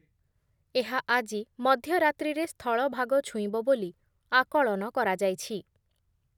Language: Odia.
ଏହା ଆଜି ମଧ୍ୟ ରାତ୍ରିରେ ସ୍ଥଳଭାଗ ଛୁଇଁବ ବୋଲି ଆକଳନ କରାଯାଇଛି ।